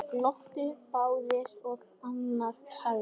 Glottu báðir og annar sagði